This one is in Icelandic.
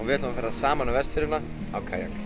saman um Vestfirðina á Kayak